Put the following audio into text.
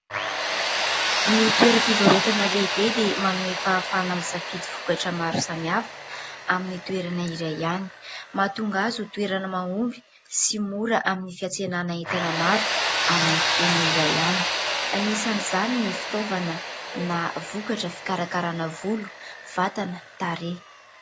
Ny toeram-pivarotana lehibe dia manome fahafahana amin'ny safidy vokatra maro samihafa amin'ny toerana iray ihany. Mahatonga azy ho toerana mahomby sy mora amin'ny fiantsenana entana maro amin'ny fotoana iray ihany . Anisan'izany ny fitaovana na vokatra fikarakarana volo, vatana, tarehy.